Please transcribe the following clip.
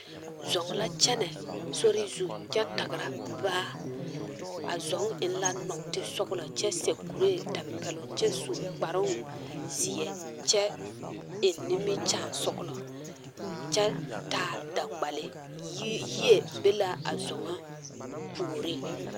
Zɔŋ la kyɛnɛ a sori zu kyɛ tagra baa a zɔŋ eŋ la nɔɔtesɔglɔ kyɛ seɛ kureetampɛloŋ kyɛ su kparoŋ zeɛ kyɛ eŋ nimikyaanesɔglɔ kyɛ taa daŋgbale yi yie be la a zɔŋa puoriŋ.